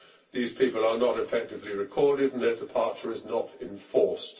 These people are not effectively recorded, net departure is not enforced.